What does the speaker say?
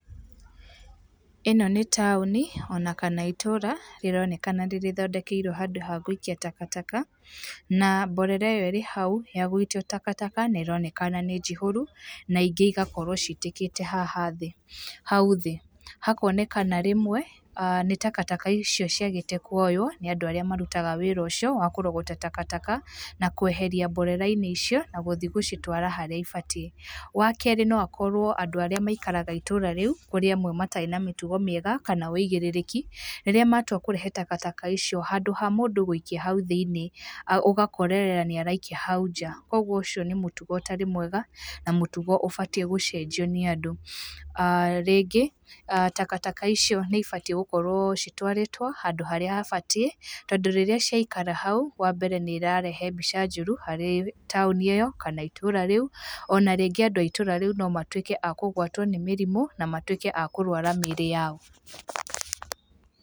ĩno nĩ taũni ona kana itũũra rĩronekana nĩrĩthondekeirwo handũ ha gũikia takataka, na mborera ĩyo ĩrĩ hau ya gũikio takataka nĩronekana nĩ njihũru na ingĩ igakorwo citĩkĩte haha thĩ, hau thĩ. Hakonekana rĩmwe ah nĩ takataka icio ciagĩte kouywo ni andũ arĩa marutaga wĩra ũcio wa kũrogota takataka, na kweheria mborera-inĩ icio na guthiĩ gũcitwara harĩa ibatiĩ. Wakerĩ noakorwo andũ arĩa maikaraga itũũra riũ, kũrĩ amwe matarĩ na mĩtugo miega kana wĩigĩrĩrĩki rĩrĩa matua kũrehe takataka icio, handũ ha mũndũ gũikia hau thĩinĩ ũgakorerera araikia hau nja. Kũguo ũcio nĩ mũtugo ũtarĩ mwega na mũtugo ũbatiĩ gũcenjio nĩ andũ. aah Rĩngĩ, ah takataka icio nĩibatiĩ gũkorwo citwarĩtwo handũ harĩa habatiĩ, tondũ rĩrĩa ciakara hau, wambere nĩĩrarehe mbica njũru harĩ taũni ĩyo kana itũũra rĩu, ona rĩngĩ andũ a itũũra rĩu nomatuĩke a kũgwatwo nĩ mĩrimũ na matuĩke a kũrwara mĩĩrĩ yao.